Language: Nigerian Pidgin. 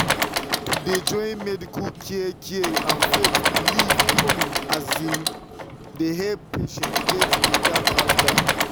to dey join medical care care and faith belief um dey help patients get better faster.